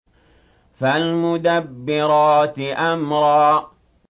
فَالْمُدَبِّرَاتِ أَمْرًا